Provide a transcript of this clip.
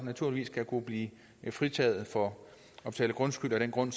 naturligvis kan blive fritaget for at betale grundskyld af den grund